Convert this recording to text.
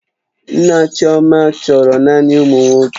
Nna chioma chọrọ naanị ụmụ nwoke